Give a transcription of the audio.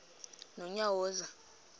nonyawoza